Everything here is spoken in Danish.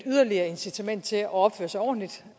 yderligere incitament til at opføre sig ordentligt